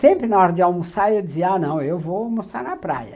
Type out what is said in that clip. Sempre na hora de almoçar eu dizia, ah, não, eu vou almoçar na praia.